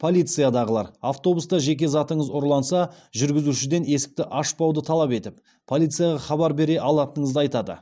полициядағылар автобуста жеке затыңыз ұрланса жүргізушіден есікті ашпауды талап етіп полицияға хабар бере алатыныңызды айтады